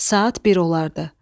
Saat bir olardı.